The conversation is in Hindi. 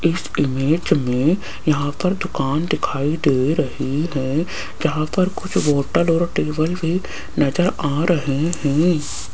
इस इमेज में यहां पर दुकान दिखाई दे रही है जहां पर कुछ बॉटल और टेबल भी नजर आ रहे हैं।